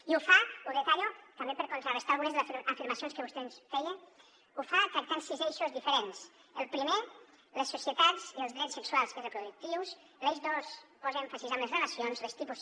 i ho fa ho detallo també per contrarestar algunes de les afirmacions que vostè ens feia tractant sis eixos diferents el primer les societats i els drets sexuals i reproductius l’eix dos posa èmfasi en les relacions els tipus